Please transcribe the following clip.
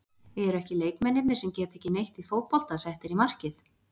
Eru ekki leikmennirnir sem geta ekki neitt í fótbolta settir í markið?